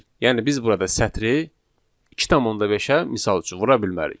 Yəni biz burada sətri 2,5-ə misal üçün vura bilmərik.